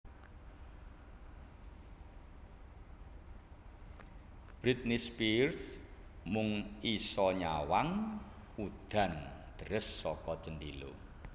Britney Spears mung iso nyawang udan deres saka jendela